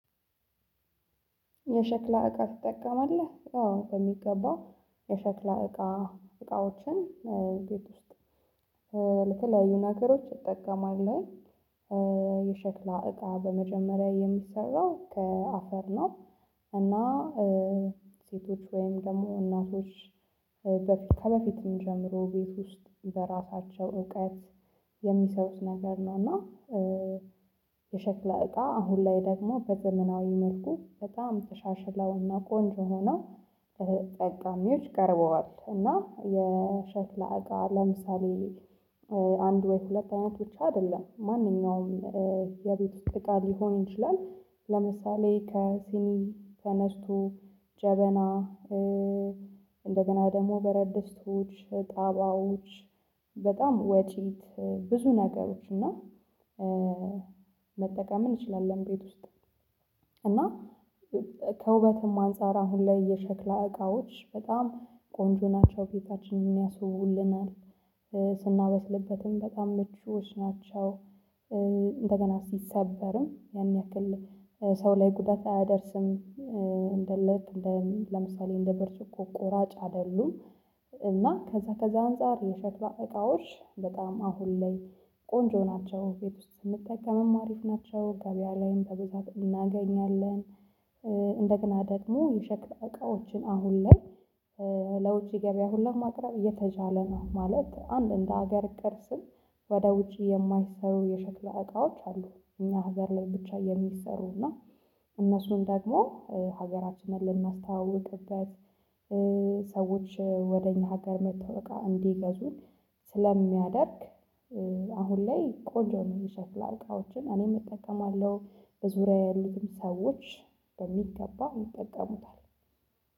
የሸክላ እቃ ትጠቀማለህ አዎ በሚገባ የሸክላ እቃ እቃዎችን ቤት ውስጥ ለተለያዩ ነገሮች እጠቀማለሁ። የሸክላ እቃ በመጀመሪያ የሚሰራው ከአፈር ነው። እና ሴቶች ወይም ደግሞ እናቶች ከበፊትም ጀምሮ ቤት ውስጥ በራሳቸው እውቀት የሚሰሩት ነገር ነው። እና የሸክላ እቃ አሁን ላይ ደግሞ በዘመናዊ መልኩ በጣም ተሻሽለውና ቆንጆ ሆነው ለተጠቃሚዎች ቀርበዋል። እና የሸክላ እቃ ለምሳሌ አንድ ወይም ሁለት አይነት ብቻ አይደለም ማንኛውም የቤት ውስጥ እቃ ሊሆን ይችላል። ለምሳሌ ከሲኒ ተነስቱ ጀበና እንደገና ደግሞ በረድስቱ ጣባዎች በጣም ወጪ ብዙ ነገሮች እና መጠቀም እንችላለን። ቤት ውስጥ እና ከውበትም አንፃር አሁን ላይ የሸክላ እቃዎች በጣም ቆንጆ ናቸው ቤታችንን ያስውቡልናል። ስናበስልበትም በጣም ምቹዎች ናቸው። እንደገና ሲሰበርም ያን ያክል ሰው ላይ ጉዳት አያደርስም። ለምሳሌ እንደ ብርጭቆ ቆራጭ አይደሉም። እና ከዛ ከዛ አንፃር የሸክላ እቃዎች በጣም አሁን ላይ ቆንጆ ናቸው ቤት ውስጥ ስንጠቀምም አሪፍ ናቸው ገበያ ላይም በብዛት እናገኛለን። እንደገና ደግሞ የሸክላ እቃዎችን አሁን ላይ ለውጪ ገበያ ሁሉ ማቅረብ እየተቻለ ነው ማለት። አንድ እንደ ሀገር ቅርስም ወደ ውጪ የማይሰሩ የሸክላ እቃዎች አሉ። እኛ ሀገር ላይ ብቻ የሚሰሩ እና እነሱን ደግሞ ሀገራችንን ልናስተዋውቅበት። ሰዎች ወደ እኛ ሀገር መጠው እቃ እንዲገዙ ስለሚያደርግ አሁን ላይ ቆንጆ ነው። የሸክላ እቃዎችን እኔም እጠቀማለሁ በዙሪያዬ ያሉትም ሰዎች በሚገባ ይጠቀሙታል።